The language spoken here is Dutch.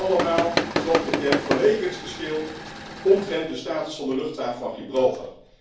En dat allemaal, zoals bekend, vanwege het geschil omtrent de status van de luchthaven van Gibraltar.